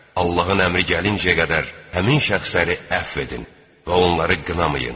Allahın əmri gəlincəyə qədər həmin şəxsləri əfv edin və onları qınamayın.